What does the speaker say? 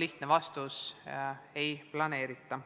lihtne vastus: ei planeerita.